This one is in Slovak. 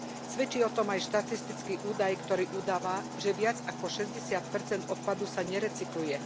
Svedčí o tom aj štatistický údaj, ktorý udáva, že viac ako 60 odpadu sa nerecykluje.